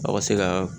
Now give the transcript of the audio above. Aw ka se ka